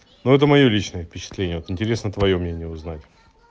ну это моё личное впечатление вот интересно твоё мнение узнать